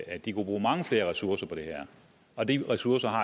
at de kunne bruge mange flere ressourcer på det her og de ressourcer har